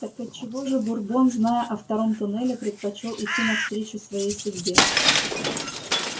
так от чего же бурбон зная о втором туннеле предпочёл идти навстречу своей судьбе